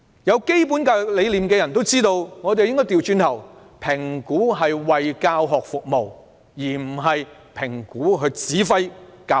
有基本教育理念的人也明白，應該反過來，讓評估為教學服務而非指揮教學。